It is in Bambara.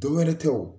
Dɔ wɛrɛ tɛ o